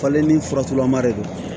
Falen ni faturalama de don